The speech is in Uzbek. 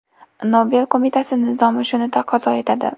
Nobel qo‘mitasi nizomi shuni taqozo etadi.